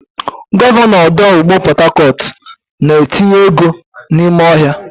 Gọvanọ ọdụ ụgbọ Port Harcourt na-etinye ego n'ime ọhịa.